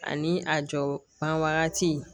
Ani a jɔ ban wagati